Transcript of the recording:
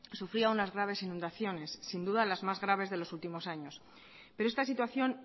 sufría unas graves inundaciones sin duda las más graves de los últimos años pero esta situación